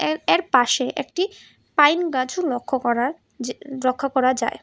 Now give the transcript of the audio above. এর এর পাশে একটি পাইন গাছও লক্ষ করার যে লক্ষ করা যায়।